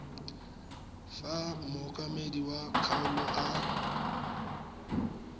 fa mookamedi wa kgaolo a